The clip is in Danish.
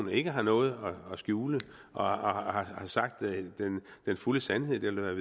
ikke har noget at skjule og har sagt den fulde sandhed eller